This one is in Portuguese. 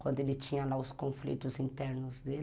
quando ele tinha lá os conflitos internos dele.